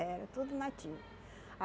Era tudo nativa.